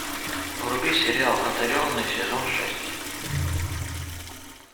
вруби сериал одаренные сезон шесть